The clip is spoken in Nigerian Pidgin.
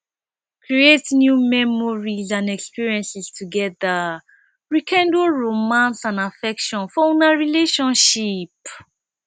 create new memories and experiences together rekindle romance and affection for una relationship